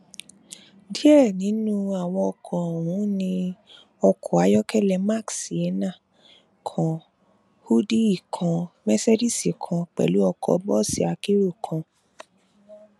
díẹ nínú àwọn ọkọ ọhún ní ọkọ ayọkẹlẹ mark sienna kan húdíì kan mẹsídíìsì kan pẹlú ọkọ bọọsì akérò kan